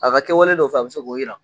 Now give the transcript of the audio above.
A ka kɛwale dɔw fɛ,a bɛ se k'olu jira.